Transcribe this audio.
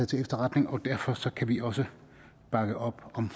til efterretning og derfor kan vi også bakke op om